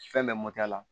Fɛn bɛɛ la